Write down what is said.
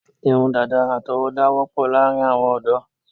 Irun dàda àtọwọ́dá wọ́pọ̀ láàrin àwọn ọ̀dọ́